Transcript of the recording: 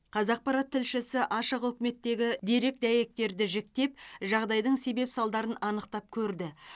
қазақпарат тілшісі ашық үкіметтегі дерек дәйектерді жіктеп жағдайдың себеп салдарын анықтап көрді